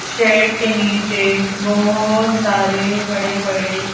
shade के नीचे बहुत सारे बड़े-बड़े--